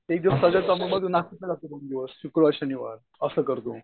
एक दिवस नाशिकला जातो दोन दिवस शुक्रवार शनिवार असं करतो.